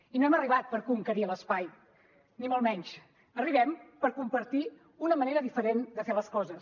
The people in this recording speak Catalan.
i no hem arribat per conquerir l’espai ni molt menys arribem per compartir una manera diferent de fer les coses